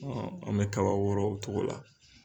An bɛ kaba wɔɔrɔ o cogo la.